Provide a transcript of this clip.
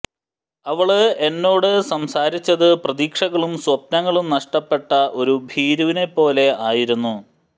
അവള് എന്നോട് സംസാരിച്ചത് പ്രതീക്ഷകളും സ്വപ്നങ്ങളും നഷ്ടപ്പെട്ട ഒരു ഭീരുവിനെ പോലെ ആയിരുന്നു